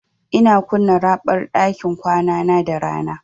Ina kunna raɓar ɗakin kwanana da rana.